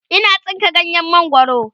Ina tsinka ganyen mangwaro